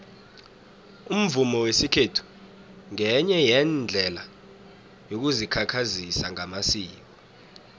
umvumo wesikhethu ngenye yeendlela yokuzikhakhazisa ngamasiko